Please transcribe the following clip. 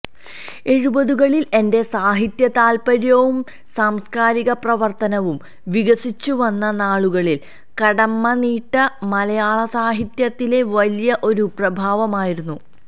എഴുപതുകളില് എന്റെ സാഹിത്യതാല്പ്പര്യവും സാംസ്കാരിക പ്രവര്ത്തനവും വികസിച്ചുവന്ന നാളുകളില് കടമ്മനിട്ട മലയാളസാഹിത്യത്തിലെ വലിയ ഒരു പ്രഭാവമായിരുന്നു